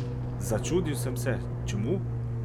Začudil sem se, čemu?